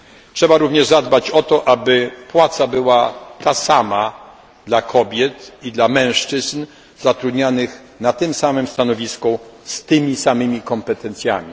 Trzeba również zadbać o to, aby płaca była ta sama dla kobiet i dla mężczyzn zatrudnianych na tym samym stanowisku z tymi samymi kompetencjami.